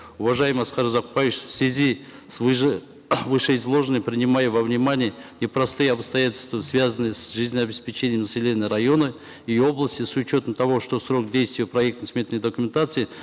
уважаемый аскар узакбаевич в связи с вышеизложенным принимая во внимание непростые обстоятельства связанные с жизнеобеспечением населения района и области с учетом того что срок действия проектно сметной документации